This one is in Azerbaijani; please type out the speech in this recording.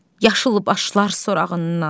Yaşıl başlar sorağından.